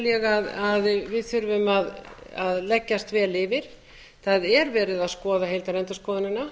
ég að við þurfum að leggjast vel yfir það er verið að skoða heildarendurskoðunina